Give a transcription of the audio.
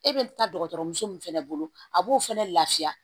E bɛ taa dɔgɔtɔrɔmuso min fɛnɛ bolo a b'o fɛnɛ lafiya